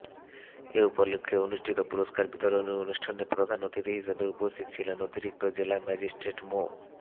এ উপলক্ষে অনুষ্ঠিত পুরস্কার বিতরণী অনুষ্ঠানে প্রধান অতিথি হিসেবে উপস্থিত ছিলেন অতিরিক্তি জেলা ম্যাজিস্ট্রেট মো